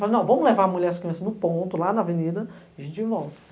Falei, vamos levar a mulher e as crianças no ponto, lá na avenida, e a gente volta.